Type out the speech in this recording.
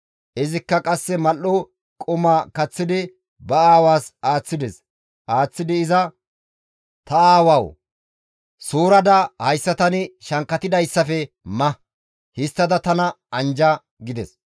Izikka qasse mal7o qumaa kaththidi ba aawaas aaththides; aaththidi iza, «Ta aawawu! Suurada hayssa tani shankkatidayssafe ma; histtada tana anjja» gides.